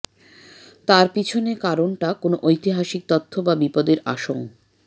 তার পেছনে কারণটা কোন ঐতিহাসিক তথ্য বা বিপদের আশঙ